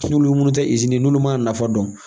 Tululu munun tɛ izini n'olu ma nafa dɔn.